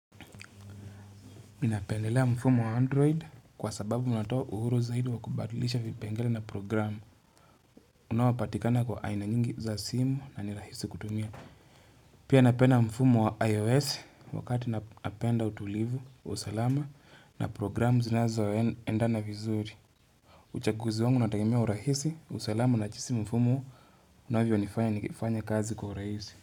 Minapendelea mfumo wa android kwa sababu minatoa uhuru zaidi wa kubatulisha vipengele na programu unawapatikana kwa aina nyingi za simu na nirahisi kutumia. Pia napenda mfumo wa ios wakati napenda utulivu, usalama na programu zinazo wa endana vizuri. Uchaguzi wangu natakimia urahisi, usalama na chisi mfumo unavyo nifanya nikifanya kazi kwa urahisi.